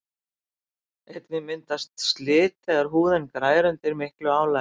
einnig myndast slit þegar húðin grær undir miklu álagi